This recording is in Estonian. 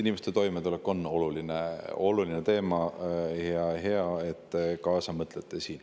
Inimeste toimetulek on oluline teema ja hea, et te siin kaasa mõtlete.